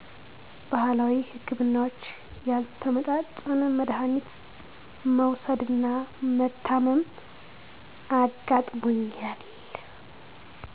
ባህላዊ ህክምናዎች ያልተመጣጠነ መዳሀኒት መዉሰድና መታመም አጋጥሞኛል